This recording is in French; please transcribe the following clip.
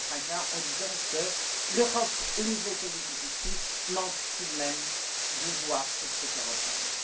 Salafranca, en disant que l'Europe, au niveau politique en l'occurrence, manque tout de même de voix pour se faire entendre.